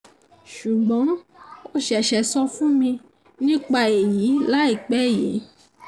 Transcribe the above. sùgbọ́n ó ṣẹ̀ṣẹ̀ sọ fún mi nípa èyí láìpẹ́ yìí